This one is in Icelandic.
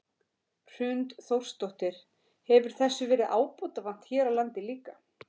Hrund Þórsdóttir: Hefur þessu verið ábótavant hér á landi líka?